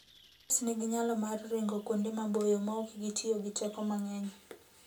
Faras nigi nyalo mar ringo kuonde maboyo maok gitiyo gi teko mang'eny.